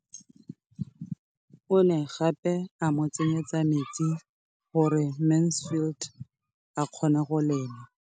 O ne gape a mo tsenyetsa metsi gore Mansfield a kgone go lema.